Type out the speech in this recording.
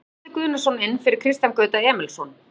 Nú kemur Atli Guðnason inn fyrir Kristján Gauta Emilsson.